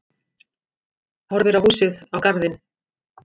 Horfir á húsið, á garðinn.